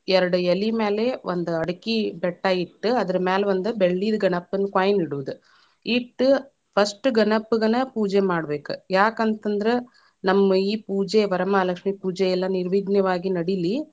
ಎರಡ ಎಲಿ ಮೇಲೆ, ಒಂದ ಅಡಕಿ ಬೆಟ್ಟ ಇಟ್ಟ, ಅದರ ಮ್ಯಾಲ ಒಂದ ಬೆಳ್ಳಿದ ಗಣಪ್ಪನ್‌ coin ಇಡೋದ ಇಟ್ಟ first ಗಣಪ್ಪಗನ ಪೂಜೆ ಮಾಡಬೇಕ, ಯಾಕ ಅಂತ ಅಂದ್ರ ನಮ್ಮ ಈ ಪೂಜೆ ವರಮಹಾಲಕ್ಷ್ಮೀ ಪೂಜೆ ಎಲ್ಲಾ ನೀವಿ೯ಘ್ನನಾಗಿ ನಡಿಲಿ .